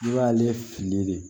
I b'ale fili de